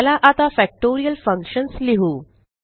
चला आता factorial functions लिहु